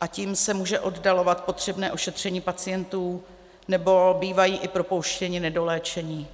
a tím se může oddalovat potřebné ošetření pacientů, nebo bývají i propouštěni nedoléčení.